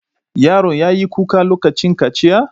Yaron ya yi kuka lokacin kaciya?